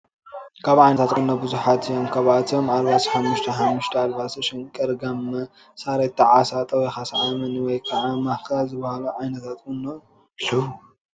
ካብ ዓይነታት ቁኖ ብዙሓት እዮም። ካብ ኣብቶም ኣልቦሶ ሓሙሽተ፣ ሓሙሽተ ኣልባሶ ሽንቅር፣ ጋመ፣ ሳሬታ፣ ዓሳ፣ ጠዊካ ሰዓመኒ ወይ ከዓ ማካ ዝበሃሉ ዓይነታት ኩኖ ኣለው።